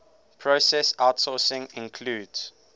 process outsourcing includes